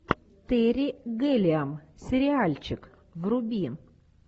терри гиллиам сериальчик вруби